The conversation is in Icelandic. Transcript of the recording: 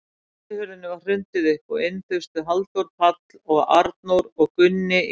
Útihurðinni var hrundið upp og inn þustu Halldór, Páll og Arnór og Gunni í